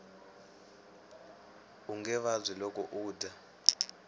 unge vabyi loko u dya